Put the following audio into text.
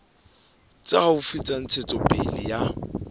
tse haufi tsa ntshetsopele ya